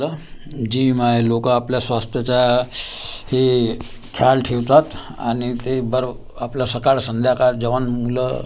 जी माय लोकं आपल्या स्वास्थ्याचा हे खयाल ठेवतात आणि ते बर आपलं सकाळ संध्याकाळ जवान मुलं--